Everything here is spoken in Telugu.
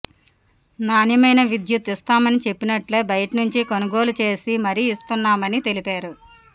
నాణ్యమైన విద్యుత్ ఇస్తామని చెప్పినట్లే బయటనుంచి కొనుగోళ్ళు చేసి మరి ఇస్తున్నామని తెలిపారు